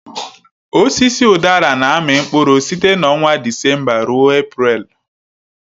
Osisi udara na-amị mkpụrụ site na ọnwa Disemba ruo Eprelu.